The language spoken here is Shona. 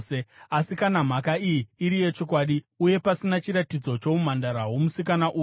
Asi, kana mhaka iyi iri yechokwadi uye pasina chiratidzo choumhandara hwomusikana uyu,